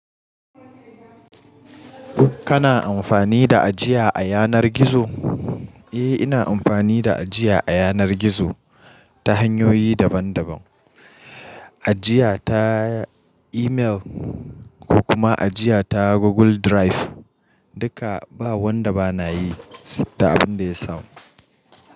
Kana amfani da ajiya a yanar gizo? Eh, ina amfani da ajiya a yanar gizo ta hanyoyi daban daban. Ajiya ta imel ko kuma ajiya ta Google Drive. Duka ba wanda ba na yi, da abin da ya samu.